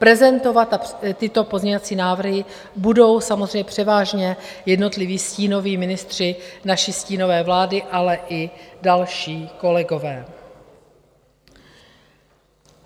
Prezentovat tyto pozměňovací návrhy budou samozřejmě převážně jednotliví stínoví ministři naší stínové vlády, ale i další kolegové.